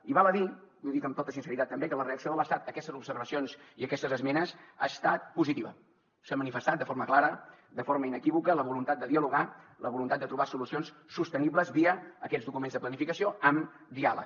i val a dir i ho dic amb tota sinceritat també que la reacció de l’estat a aquestes observacions i aquestes esmenes ha estat positiva s’ha manifestat de forma clara de forma inequívoca la voluntat de dialogar la voluntat de trobar solucions sostenibles via aquests documents de planificació amb diàleg